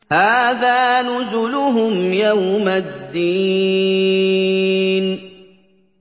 هَٰذَا نُزُلُهُمْ يَوْمَ الدِّينِ